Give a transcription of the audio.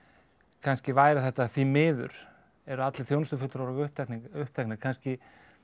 kannski væri þetta því miður eru allir þjónustufulltrúar okkar uppteknir uppteknir kannski